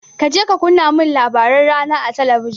Kaje ka kunna min labaran rana a talabijin.